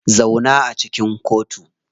Zauna a cikin kotu.